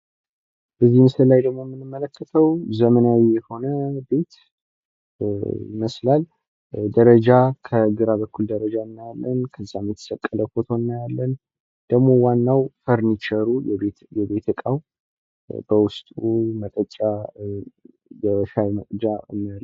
በዚህ ምስል ላይ ደግሞ የምንመለከተው ዘመናዊ የሆነ ቤት ይመስላል። ደረጃ ከግራ በኩል ደረጀ አናያለን። ከዚያም የተሰቀለ ፎቶ እናያለን ። ደግሞ ዋናው ፈሪንቸሩ የቤት እቃ በውስጥ መጠጫ፥ የሻይ መቅጃ እናያለን።